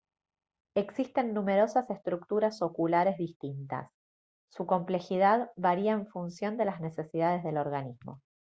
existen numerosas estructuras oculares distintas su complejidad varía en función de las necesidades del organismo